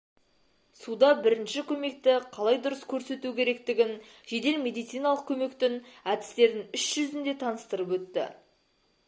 суда бірінші көмекті қалай дұрыс көрсету керектігін жедел медициналық көмектің әдістерін іс жүзінде таныстырып өтті